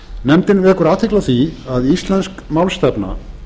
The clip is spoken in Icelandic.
nefndin vekur athygli á því að íslensk málstefna